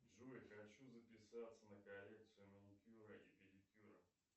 джой хочу записаться на коррекцию маникюра и педикюра